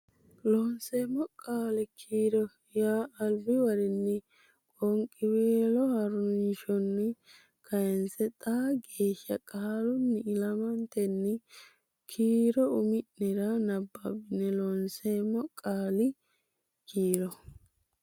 Loonseemmo Qaali kiiro yaa albiwarinni qoonqiweelo ha rinshonni kayisse xaa geeshsha qaalunni ilamatenni kiiro umi nera nababbe Loonseemmo Qaali kiiro.